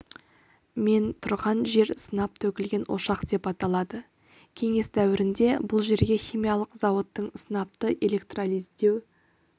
мен тұрған жер сынап төгілген ошақ деп аталады кеңес дәуірінде бұл жерде химиялық зауыттың сынапты электролиздеу